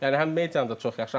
Yəni həm medianı da çox yaxşı.